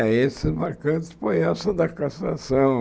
É, esses marcantes foi essa da castração.